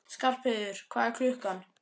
Skarpheiður, hvað er klukkan?